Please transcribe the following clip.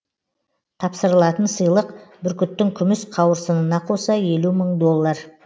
тапсырылатын сыйлық бүркіттің күміс қауырсынына қоса елу мың мың доллар